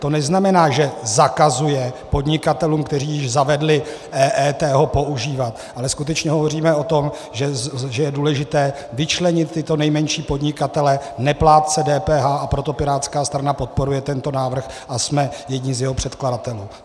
To neznamená, že zakazuje podnikatelům, kteří již zavedli EET, ho používat, ale skutečně hovoříme o tom, že je důležité vyčlenit tyto nejmenší podnikatele, neplátce DPH, a proto pirátská strana podporuje tento návrh a jsme jedni z jeho předkladatelů.